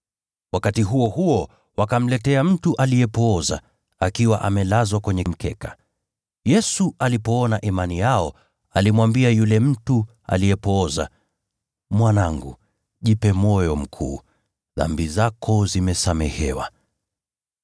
Wakati huo huo wakamletea mtu aliyepooza, akiwa amelazwa kwenye mkeka. Yesu alipoiona imani yao, alimwambia yule mtu aliyepooza, “Mwanangu, jipe moyo mkuu. Dhambi zako zimesamehewa.”